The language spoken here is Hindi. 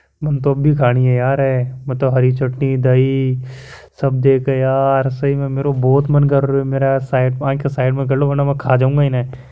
मन तो अभी खानी है यार मैं तो हरी चटनी दही सब देख के यार सही मे मेरे को देख मन बहुत कर रियो है आँख साइड में कर लो वरना मैं खा जाऊंगा इन्हे।